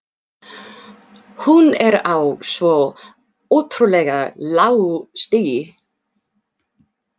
Hún er á svo ótrúlega lágu stigi.